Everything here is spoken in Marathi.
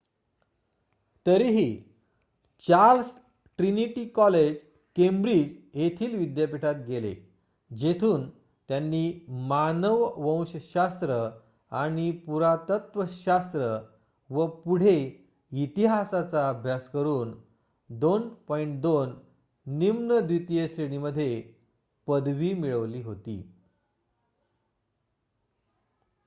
तरीही चार्ल्स ट्रिनीटी कॉलेज केंब्रिज येथील विद्यापीठात गेले जेथून त्यांनी मानववंश शास्त्र आणि पुरातत्वशास्त्र व पुढे इतिहासाचा अभ्यास करून २:२ निम्न द्वितीय श्रेणीमध्ये पदवी मिळवली होती